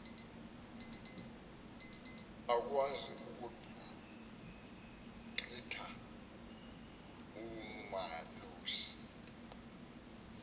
akakwazi ukugqitha umalusi